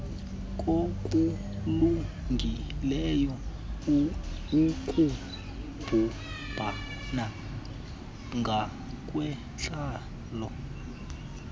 kokulungileyo ukubumbana ngokwentlalo